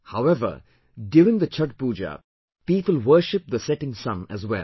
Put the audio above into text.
However, during the Chhathh Pooja, people worship the setting Sun as well